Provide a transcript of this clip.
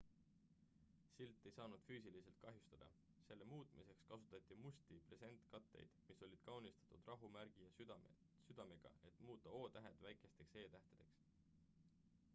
silt ei saanud füüsiliselt kahjustada selle muutmiseks kasutati musti presentkatteid mis olid kaunistatud rahumärgi ja südamega et muuta o-tähed väikesteks e-tähtedeks